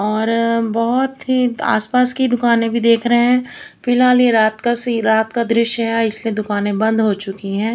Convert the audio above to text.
और बहुत ही आसपास की दुकानें भी देख रहे हैं। फिलहाल ये रात का सी रात का दृश्य है इसलिए दुकानें बंद हो चुकी हैं।